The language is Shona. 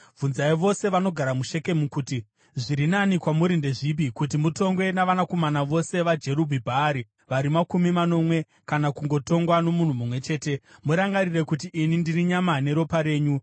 “Bvunzai vose vanogara muShekemu kuti, ‘Zviri nani kwamuri ndezvipi: Kuti mutongwe navanakomana vose vaJerubhi-Bhaari vari makumi manomwe kana kungotongwa nomunhu mumwe chete?’ Murangarire kuti ini ndiri nyama neropa renyu.”